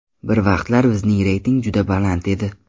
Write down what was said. Bir vaqtlar bizning reyting juda baland edi.